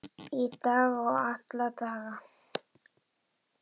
Í dag og alla daga.